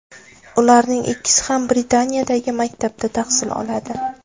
Ularning ikkisi ham Britaniyadagi maktabda tahsil oladi.